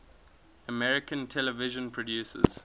american television producers